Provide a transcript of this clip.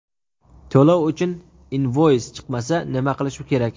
To‘lov uchun invoys chiqmasa nima qilish kerak?.